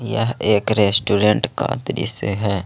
यह एक रेस्टोरेंट का दृश्य है।